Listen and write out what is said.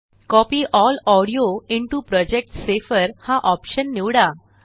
copy L audio into project हा option निवडा